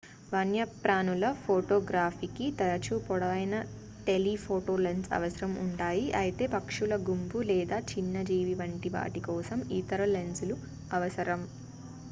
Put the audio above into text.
వన్యప్రాణుల ఫోటోగ్రఫీకి తరచూ పొడవైన టెలిఫోటో లెన్స్ అవసరం ఉంటాయి అయితే పక్షుల గుంపు లేదా చిన్న జీవి వంటి వాటి కోసం ఇతర లెన్సులు అవసరం